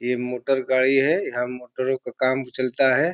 ये मोटर गाड़ी है यहाँ मोटरो का काम चलता है।